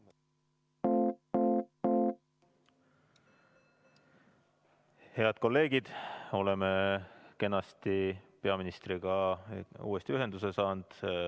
Head kolleegid, oleme kenasti peaministriga uuesti ühenduse saanud.